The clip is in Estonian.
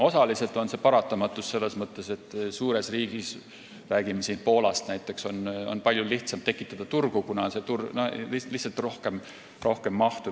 Osaliselt on see paratamatus, selles mõttes, et suures riigis, kui rääkida näiteks Poolast, on palju lihtsam tekitada turgu, kuna on lihtsalt rohkem mahtu.